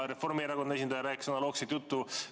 Reformierakonna esindaja rääkis analoogset juttu.